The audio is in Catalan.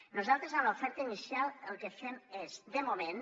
nosaltres en l’oferta inicial el que fem és de moment